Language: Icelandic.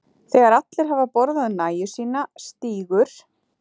Þegar allir hafa borðað nægju sína stígur